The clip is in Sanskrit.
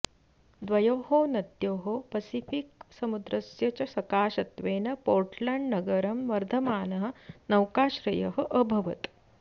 द्वयोः नद्योः पसिफ़िक् समुद्रस्य च सकाशत्वेन पोर्टलण्ड् नगरं वर्धमानः नौकाश्रयः अभवत्